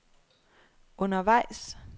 undervejs